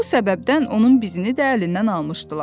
Bu səbəbdən onun bizini də əlindən almışdılar.